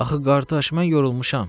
Axı qardaş, mən yorulmuşam.